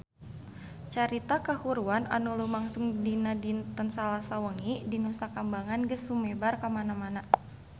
Carita kahuruan anu lumangsung dinten Salasa wengi di Nusa Kambangan geus sumebar kamana-mana